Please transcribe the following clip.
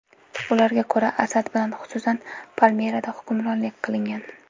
Ularga ko‘ra, Asad bilan, xususan, Palmirada hamkorlik qilingan.